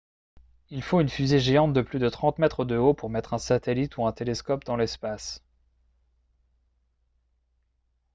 il faut une fusée géante de plus de 30 mètres de haut pour mettre un satellite ou un télescope dans l'espace